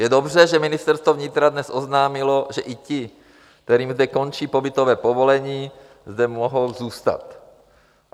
Je dobře, že Ministerstvo vnitra dnes oznámilo, že i ti, kterým zde končí pobytové povolení, zde mohou zůstat.